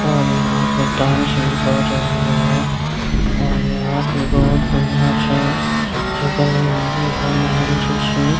और यहाँ पे डांस भी कर रही है और यहाँ भी बहुत बढ़िया से अथी बनी हुई है महल जैसी।